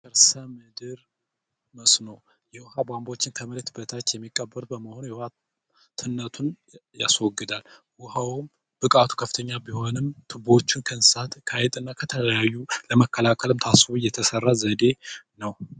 ከርሰ ምድር መስኖ የውሃ ቧንቧዎችን ከመሬት በታች የሚቀበር በመሆኑ ትነቱን ያስወግዳል። ውኃውም ብቃቱ ከፍተኛ ቢሆንም፤ ቱቦዎችን ከእንስሳት ከአይጥ እና ከተለያዩ ለመከላከል ታስቦ እየተሠራ ዘዴ ነው።